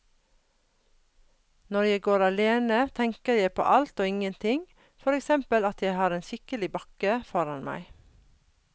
Når jeg går alene, tenker jeg på alt og ingenting, for eksempel at jeg har en skikkelig bakke foran meg.